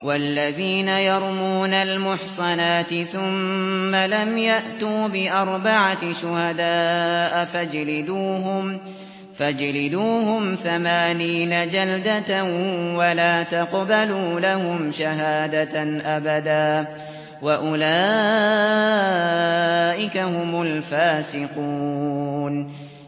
وَالَّذِينَ يَرْمُونَ الْمُحْصَنَاتِ ثُمَّ لَمْ يَأْتُوا بِأَرْبَعَةِ شُهَدَاءَ فَاجْلِدُوهُمْ ثَمَانِينَ جَلْدَةً وَلَا تَقْبَلُوا لَهُمْ شَهَادَةً أَبَدًا ۚ وَأُولَٰئِكَ هُمُ الْفَاسِقُونَ